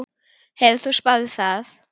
Hefur þú spáð í það?